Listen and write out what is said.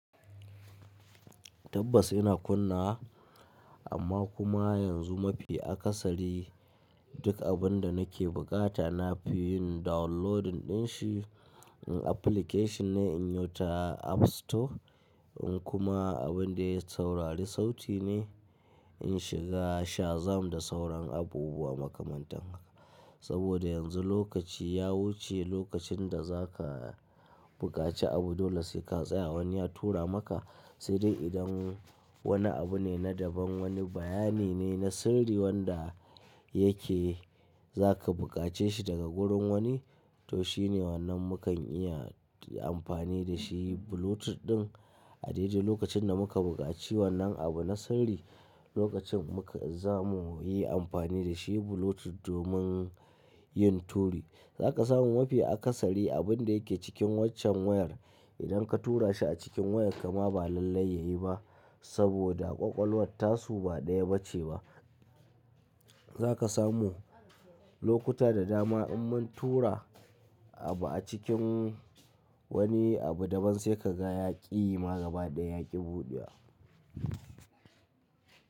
Tabbas ina kunnawa, amma kuma yanzu mafi akasari duk abin da nake bukata nafi yin downloading din shi application ne in yi ta app store, in kuma abin da saurari sauti ne in shiga Shazam da sauran abubuwa makamantan haka. Saboda yanzu lokaci ya wuce lokacin da za ka buƙaci abu dole sai ka tsaya wani ya tura maka. Sai dai idan wani abu ne na daban wani bayani ne na sirri wanda yake za ka buƙace shi daga gurin wani, toh shine wannan mukan iya amfani da shi Bluetooth ɗin. A daidai lokacin da muka buƙaci wannan abu na sirri lokacin muka zamu yi amfani da shi Bluetooth domin yin turu. Za ka samu mafi akasari abin da yake cikin waccan wayar idan ka tura shi a cikin wayarka ma ba lallai ya yi ba saboda ƙwaƙwalwar tasu ba ɗaya ba ce ba. Za ka samu lokuta da dama in mun tura abu a cikin wani abu daban sai ka ga ya ƙi ma, gaba ɗaya ya ƙi buɗewa.